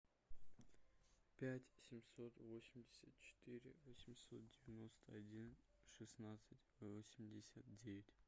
пять семьсот восемьдесят четыре восемьсот девяносто один шестнадцать восемьдесят девять